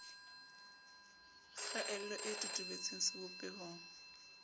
kgaello e totobe tseng sebopehong